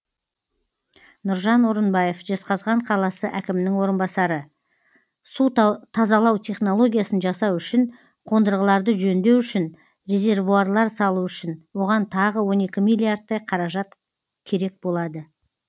нұржан орынбаев жезқазған қаласы әкімінің орынбасары су тазалау технологиясын жасау үшін қондырғыларды жөндеу үшін резервуарлар салу үшін оған тағы он екі миллиардтай қаражат керек болады